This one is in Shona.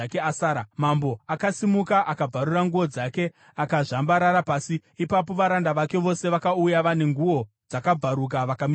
Mambo akasimuka, akabvarura nguo dzake akazvambarara pasi; ipapo varanda vake vose vakauya vaine nguo dzakabvaruka vakamira paari.